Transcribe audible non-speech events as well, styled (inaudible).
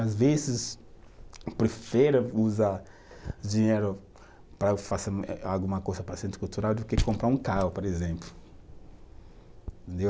Às vezes (unintelligible) usar dinheiro para eu fazer eh alguma coisa para o Centro Cultural do que comprar um carro, por exemplo. (unintelligible)